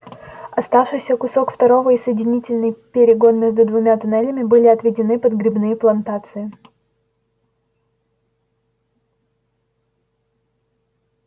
остававшийся кусок второго и соединительный перегон между двумя туннелями были отведены под грибные плантации